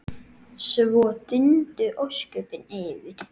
Svo dundu ósköpin yfir.